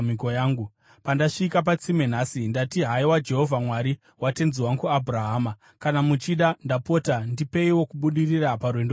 “Pandasvika patsime nhasi, ndati, ‘Haiwa Jehovha, Mwari watenzi wangu Abhurahama, kana muchida, ndapota ndipeiwo kubudirira parwendo rwandafamba.